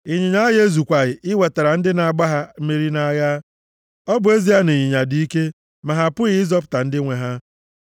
Ịnyịnya agha ezukwaghị iwetara ndị na-agba ha mmeri nʼagha. Ọ bụ ezie na ịnyịnya dị ike, ma ha apụghị ịzọpụta ndị nwe ha.